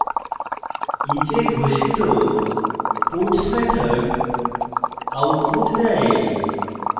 each এ ঘোষিত puts method output দেয়